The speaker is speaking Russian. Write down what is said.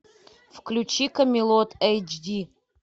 включи камелот эйч ди